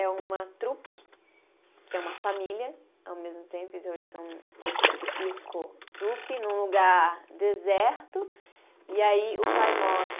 É uma trupe, que é uma família, ao mesmo tempo, então eles são circo-trupe, num lugar deserto, e aí o pai morre.